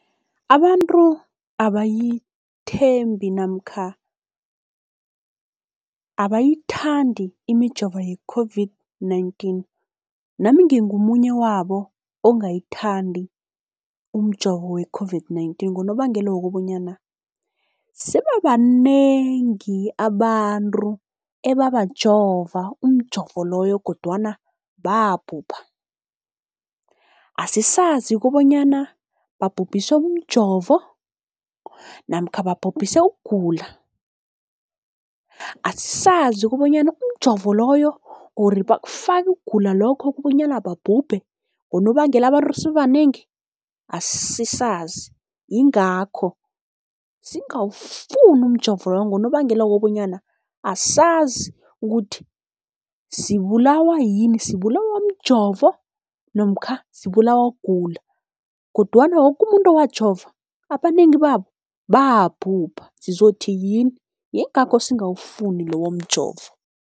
Abantu abayithembi namkha abayithandi imijovo ye-COVID-19, nami ngingomunye wabo ongayithandi umjovo we-COVID-19. Ngonobangela wokobanyana sebabanengi abantu ebabajova umjovo loyo kodwana babhubha, asisazi kobonyana babhubhiswe mjovo namkha babhubhise ukugula, asazi kobanyana umjovo loyo or bakufaka ukugula lokho kobonyana babhubhe ngonobangela abantu sebabanengi asisazi. Yingakho singawufuni umjovo lowo, ngonobangela wokobanyana asazi ukuthi sibulawa yini sibulawa mjovo namkha sibulawa kugula. Kodwana woke umuntu owajova abanengi babo babhubha, sizothi yini yingakho singawufuni lowo mjovo.